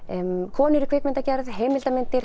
konur í kvikmyndagerð heimildamyndir